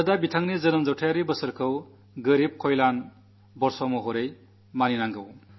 രാജ്യം അദ്ദേഹത്തിന്റെ ജന്മശതാബ്ദി വർഷം ദരിദ്രക്ഷേമ വർഷമായി ആചരിക്കട്ടെ